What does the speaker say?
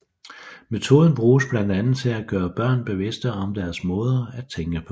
Metoden bruges blandt andet til at gøre børn bevidste om deres måder at tænke på